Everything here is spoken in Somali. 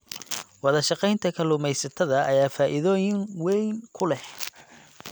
Wadashaqeynta kalluumeysatada ayaa faa'iidooyin weyn ku leh.